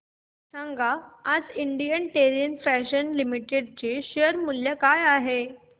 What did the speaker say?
सांगा आज Indian terrain fashions limited चे शेअर मूल्य काय आहे